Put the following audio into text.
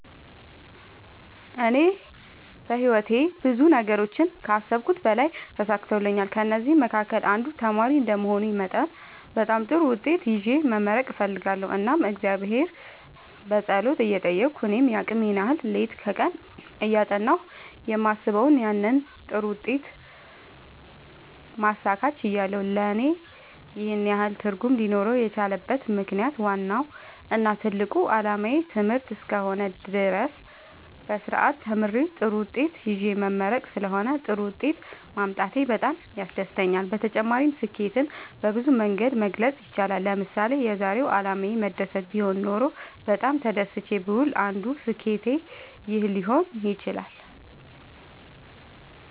እኔ በህይወቴ ብዙ ነገሮችን ከአሰብሁት በላይ ተሳክተውልኛል ከእነዚህም መካከል አንዱ ተማሪ እንደመሆኔ መጠን በጣም ጥሩ ውጤት ይዤ መመረቅ እፈልጋለሁ እናም እግዚአብሔርን በጸሎት እየጠየቅሁ እኔም የአቅሜን ያህል ሌት ከቀን እያጠናሁ የማስበውን ያንን ጥሩ ውጤት ማሳካት ችያለሁ ለእኔ ይህን ያህል ትርጉም ሊኖረው የቻለበት ምክንያት ዋናው እና ትልቁ አላማዬ ትምህርት እስከ ሆነ ድረስ በስርአት ተምሬ ጥሩ ውጤት ይዤ መመረቅ ስለሆነ ጥሩ ውጤት ማምጣቴ በጣም ያስደስተኛል። በተጨማሪ ስኬትን በብዙ መንገድ መግለፅ ይቻላል ለምሳሌ የዛሬው አላማዬ መደሰት ቢሆን ኖሮ በጣም ተደስቼ ብውል አንዱ ስኬት ይህ ሊሆን ይችላል